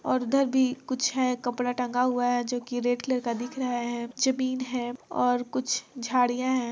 और इधर भी कुछ है कपड़ा टेंगा हुआ है जो की रेड कलर का दिख रहे है जमीन है और कुछ झाडियाँ है।